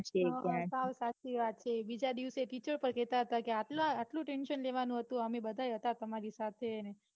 હમ સાવ સાચી વાત છે. બીજા દિવસે ટીચર લોકો કેતા હતા કે આટલું tension લેવાનું હતું અમે બધાય હતા તમારી સાથે ને